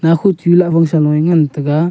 nakhoh chu lahfang saloye ngantaga.